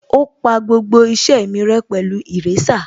Ó pa gbogbo iṣẹ́ mi rẹ́ pẹ̀lú èrésà